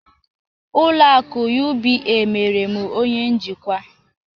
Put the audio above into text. Ụlọ akụ UBA mere m onye njikwa